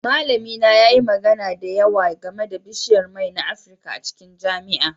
Malamina yayi magana da yawa game da bishiyar mai na Afirka a cikin jami'a